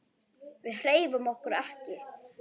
Við hreyfum okkur ekki.